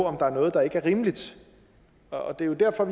om der er noget der ikke er rimeligt og det er jo derfor